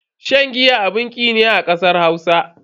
Shan giya abun ki ne a kasar Hausa.